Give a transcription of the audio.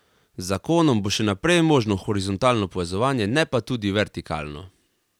Z zakonom bo še naprej možno horizontalno povezovanje, ne pa tudi vertikalno.